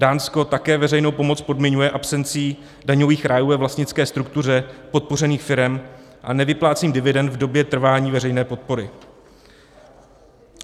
Dánsko také veřejnou pomoc podmiňuje absencí daňových rájů ve vlastnické struktuře podpořených firem a nevyplácení dividend v době trvání veřejné podpory.